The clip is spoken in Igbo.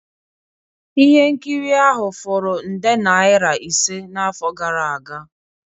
Ihe nkiri ahụ furu nde naira ise n'afọ gara aga